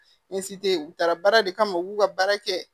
u taara baara de kama u b'u ka baara kɛ